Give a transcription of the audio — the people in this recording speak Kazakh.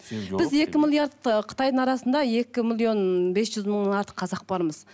біз екі миллиард ы қытайдың арасында екі миллион бес жүз мыңан артық қазақ бармыз